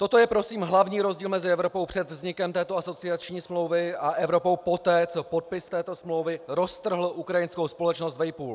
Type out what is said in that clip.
Toto je prosím hlavní rozdíl mezi Evropou před vznikem této asociační smlouvy a Evropou poté, co podpis této smlouvy roztrhl ukrajinskou společnost vejpůl.